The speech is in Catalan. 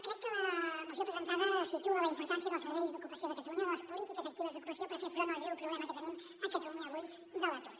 crec que la moció presentada situa la importància del servei d’ocupació de ca·talunya o de les polítiques actives d’ocupació per fer front al greu problema que tenim a catalunya avui de l’atur